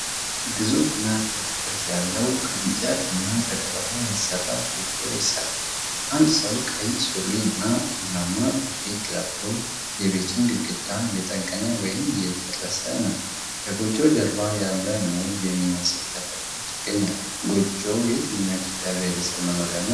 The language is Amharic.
ግዙፍና ክብ ቅርጽ ያለው ከእንጨትና ከገለባ የተሠራ ጎጆ ይሠራል። አንድ ሰው ቀይ ሱሪና ቡናማ ጃኬት ለብሶ የቤቱን ግድግዳ እየጠገነ ወይም እየጨረሰ ነው። ከጎጆው ጀርባ ያሉ ሙዝ የሚመስሉ ተክሎች ይገኛሉ። ጎጆዉ የየትኛው የኢትዮጵያ ብሔረሰብ መኖሪያ ነው?